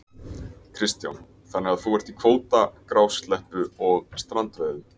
Kristján: Þannig að þú ert í kvóta, grásleppu og strandveiðum?